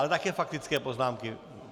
Ale také faktické poznámky?